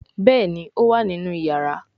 Béèni o wá nínú iyàrá.